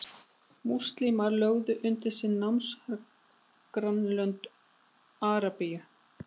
múslímar lögðu undir sig nágrannalönd arabíu